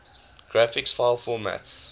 graphics file formats